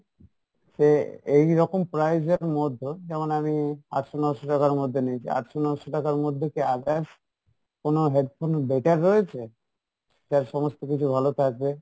সে এই রকম price এর মধ্যে যেমন আমি আটশো নসো টাকার মধ্যে নিয়েছি, আটশো নসো টাকার মধ্যে কি others কোনো headphone better রয়েছে? যার সমস্ত কিছু ভালো থাকে?